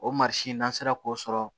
O n'an sera k'o sɔrɔ